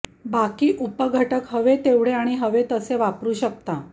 बाकी उपघटक हवे तेवढे आणि हवे तसे वापरू शकता